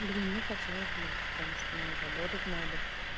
блин ну хотелось бы потому что ну работать надо